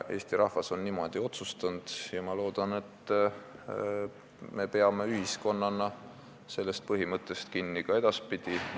Eesti rahvas on niimoodi otsustanud ja ma loodan, et me ühiskonnana peame sellest põhimõttest kinni ka edaspidi.